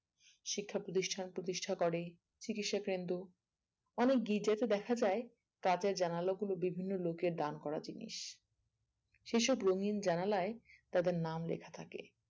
শিক্ষা প্রতিষ্ঠান প্রতিষ্টা করে চিকিৎসাকেন্দ্র অনেক গির্জাতে দেখা যায় কাঁচের জানালা গুলো বিভিন্ন লোকের দান করা জিনিস সেসব রঙিন জানালায় তাদের নাম লেখা থাকে